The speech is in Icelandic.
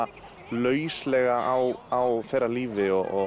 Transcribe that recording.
lauslega á þeirra lífi og